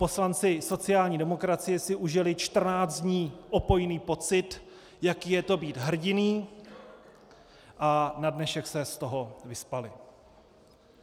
Poslanci sociální demokracie si užili čtrnáct dní opojný pocit, jaké je to být hrdiny, a na dnešek se z toho vyspali.